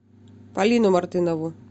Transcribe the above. полину мартынову